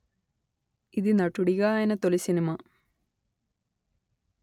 ఇది నటుడిగా ఆయన తొలి సినిమా